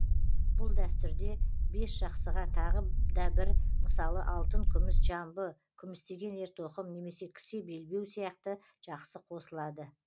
бұл дәстүрде бесжақсыға тағы да бір мысалы алтын күміс жамбы күмістеген ертоқым немесе кісе белбеу сияқты жақсы қосылады